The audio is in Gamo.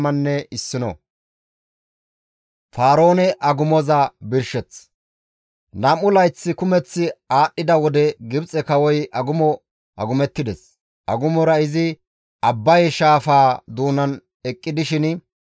Nam7u layth kumeth aadhdhida wode Gibxe kawoy agumo agumettides; agumora izi Abbaye shaafaa doonan eqqi dishin,